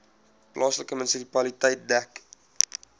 plaaslike munisipaliteit dek